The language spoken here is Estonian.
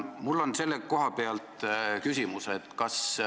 Mul on selle kohta küsimus.